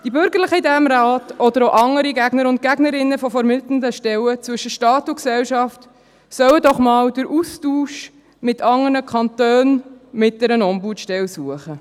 Die Bürgerlichen in diesem Rat oder auch andere Gegner und Gegnerinnen von vermittelnden Stellen zwischen Staat und Gesellschaft sollen doch einmal den Austausch mit anderen Kantonen, mit einer Ombudsstelle suchen.